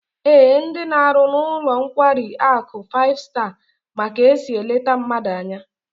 Ee, ndi na-aru n'ulo nkwari aku five star ma ka esi elete mmadu anya